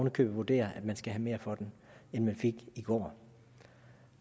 i købet vurderer at man skal have mere for den end man fik i går